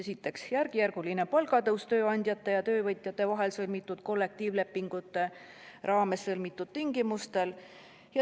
Esiteks, järkjärguline palgatõus tööandjate ja töövõtjate vahel sõlmitud kollektiivlepingute raames kokkulepitud tingimustel.